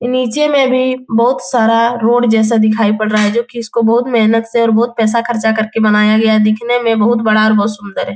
नीचे में भी बहुत सारा रोड जैसा दिखाई पड़ रहा है जो कि उसको बहुत मेहनत से और बहुत पैसा खर्चा करके बनाया गया दिखने में बहुत बड़ा और बहुत सुन्दर है |